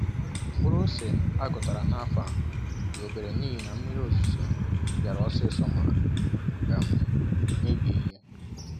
Mkpụrụ ose aghọtara n'afọ a dị obere n'ihi na mmiri ozuzo biara osisi ma um mebie ihe.